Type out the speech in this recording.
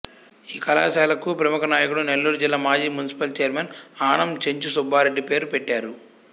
ఈ కళాశాలకు ప్రముఖ నాయకుడు నెల్లూరుజిల్లా మాజీ మునిసిపల్ చైర్మన్ ఆనం చెంచు సుబ్బారెడ్డి పేరు పెట్టారు